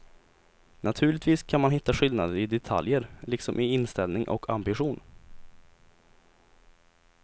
Naturligtvis kan man hitta skillnader i detaljer, liksom i inställning och ambition.